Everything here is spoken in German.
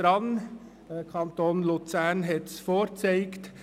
Der Kanton Luzern hat es vorgezeigt.